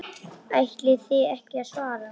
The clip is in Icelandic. Ætlið þið ekki að svara?